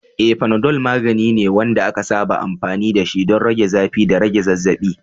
Eh, Panadol magani ne wanda aka saba amfani dashi don rage zafi da rage zazzabi.